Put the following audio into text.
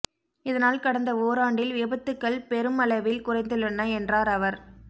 இதனால் கடந்த ஓராண்டில் விபத்துகள் பெருமளவில் குறைந்துள்ளன என்றாா் அவா்